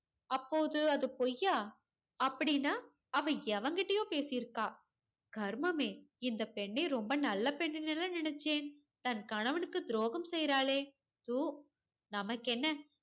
அப்போது அது பொய்யா அப்படீன்னா அவ எவங்கிட்டயோ பேசி இருக்கா கருமமே, இந்தப் பெண்ணை ரொம்ப நல்ல பெண்ணுன்னு இல்ல நினைச்சேன். தன் கணவனுக்கு துரோகம் செய்றாளே நமக்கென்ன